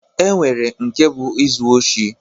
E nwere nke bụ izu oshi